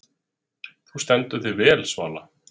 Þú stendur þig vel, Svala!